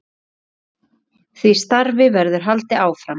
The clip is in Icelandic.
Því starfi verður haldið áfram.